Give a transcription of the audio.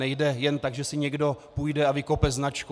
Nejde jen tak, že si někdo půjde a vykope značku.